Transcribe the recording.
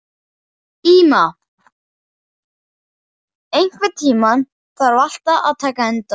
Íma, einhvern tímann þarf allt að taka enda.